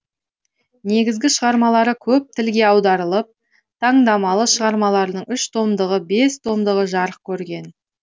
негізгі шығармалары көп тілге аударылып таңдамалы шығармаларының ұш томдығы бес томдығы жарық көрген